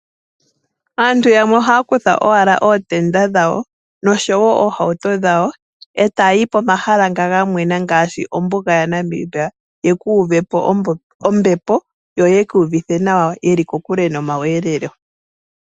Aantu yamwe ohaya kutha owala ootenda dhawo noshowo ohauto dhawo eta yi pomahala nga ngamwena ngaashi ombuga ya Namibia yekuuvepo ombepo yoyi kuvithe nawa veli kokule no mayogelelo.